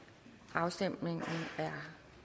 afstemningen er